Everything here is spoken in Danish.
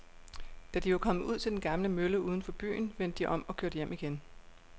Da de var kommet ud til den gamle mølle uden for byen, vendte de om og kørte hjem igen.